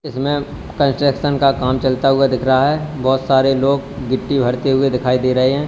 इसमें कंस्ट्रक्शन का काम चलता हुआ दिख रहा है बहुत सारे लोग गिट्टी भरते हुए दिखाई दे रहे हैं।